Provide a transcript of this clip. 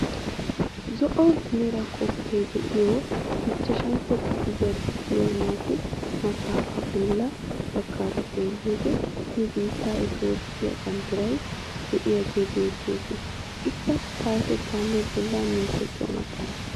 Zo"o mera koppee de'iyo ichchashshantto kifiliyaa luxiyaa naatu maxafaa bolla baggaara xeelliyode nu biittee Itoophphee banddiray de'iyaage beettees. Ikka payatettaanne bolla mintettuwaa maxaafaa.